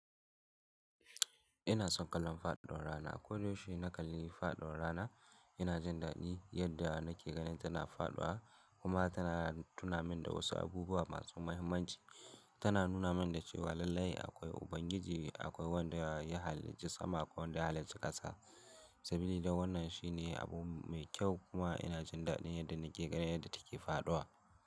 Ina son kallon faɗuwar rana. Koda she nakalli faduwar rana ina jin dadi yadda nake ganin tana faɗuwa kuma tana tuna min da wasu abubuwa masu muhimmanci. Tana nuna min da cewa lallai akwai Ubangiji, akwai wanda ya halicci sama akwai wanda ya halicci ƙasa. Sabi da wannan shine abu mai kyau kuma ina jin dadi yadda nake ganin yadda take fadawa.